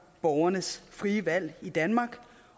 borgernes frie valg i danmark